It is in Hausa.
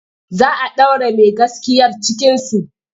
Za a ɗaure mai gaskiyar cikinsu.